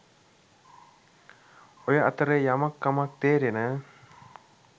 ඔය අතරෙ යමක් කමක් තේරෙන